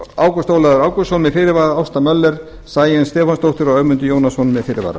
ágúst ólafur ágústsson með fyrirvara ásta möller sæunn stefánsdóttir og ögmundur jónasson með fyrirvara